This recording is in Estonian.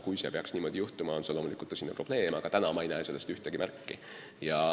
Kui see peaks niimoodi juhtuma, on see loomulikult tõsine probleem, aga täna ma ei näe sellest ühtegi märki.